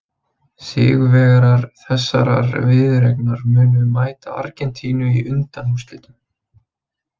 Sigurvegarar þessarar viðureignar munu mæta Argentínu í undanúrslitum.